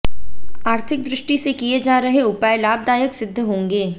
आर्थिक दृष्टि से किए जा रहे उपाय लाभदायक सिद्ध होंगे